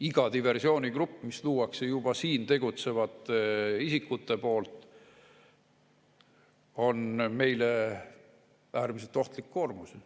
Iga diversioonigrupp, mis luuakse juba siin tegutsevad isikute poolt, on meile äärmiselt ohtlik koormus.